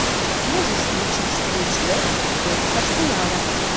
можешь включить встречу лестер против арсенала